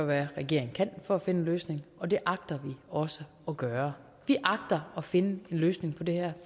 hvad regeringen kan for at finde en løsning og det agter vi også at gøre vi agter at finde en løsning på det her